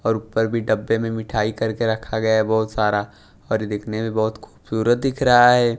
और ऊपर भी डब्बे में मिठाई करके रखा गया है बहुत सारा और यह देखने में बहुत खूबसूरत दिख रहा है।